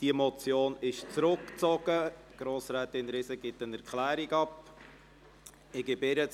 Diese Motion wurde zurückgezogen, und Grossrätin Riesen gibt eine Erklärung dazu ab.